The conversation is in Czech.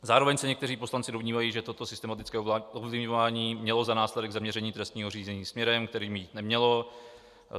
Zároveň se někteří poslanci domnívají, že toto systematické ovlivňování mělo za následek zaměření trestního řízení směrem, kterým jít nemělo.